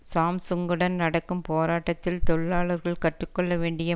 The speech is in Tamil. சாம்சுங்குடன் நடக்கும் போராட்டத்தில் தொழிலாளர்கள் கற்று கொள்ள வேண்டிய